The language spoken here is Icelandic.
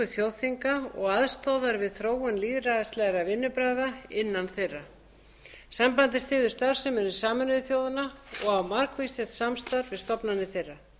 þjóðþinga og aðstoðar við þróun lýðræðislegra vinnubragða innan þeirra sambandið styður starfsemi sameinuðu þjóðanna og á margvíslegt samstarf við stofnanir